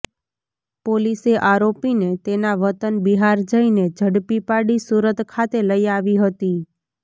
પોલીસે આરોપીને તેના વતન બિહાર જઈને ઝડપી પાડી સુરત ખાતે લઇ આવી હતી